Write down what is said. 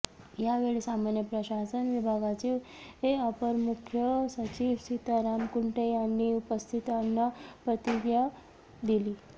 यावेळी सामान्य प्रशासन विभागाचे अपर मुख्य सचिव सीताराम कुंटे यांनी उपस्थितांना प्रतिज्ञा दिली